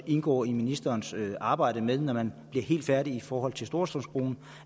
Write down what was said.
indgår i ministerens arbejde når man bliver helt færdige i forhold til storstrømsbroen